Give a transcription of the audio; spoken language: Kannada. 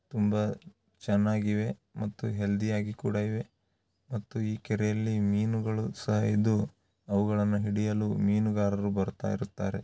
ತುಂಬಾ ಚೆನ್ನಾಗಿವೆ ಮತ್ತು ಹೆಲ್ದಿ ಆಗಿ ಕೂಡ ಇವೆ ಮತ್ತು ಈ ಕೆರೆಯಲ್ಲಿ ಮೀನು ಗಳು ಸಹಾ ಇದ್ದು ಅವುಗಳನ್ನು ಹಿಡಿಯಲು ಮೀನುಗಾರರು ಬರುತ್ತಿರುತ್ತಾರೆ